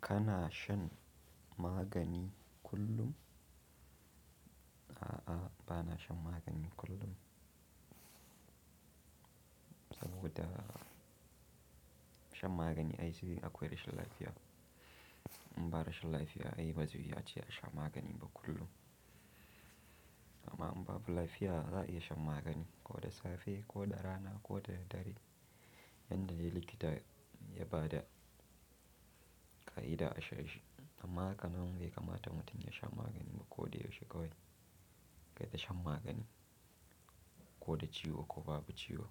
Kana shan magani kullum? A'a, ba na shan magani kullum. Saboda shan magani ai zai akwai rashin lafiya. In ba rashin lafiya ai ba zai iya a sha magani ba kullum. Amma in babu lafiya za a iya shan magani ko da safe ko da rana ko da dare. Yanda likita ya ba da ƙa'ida a sha. Amma haka na wanke kamata mutum ya sha magani ba ko da yaushe kawai. Kaita shan magani ko da ciwo ko babu ciwo